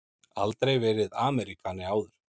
Aldrei verið Ameríkani áður.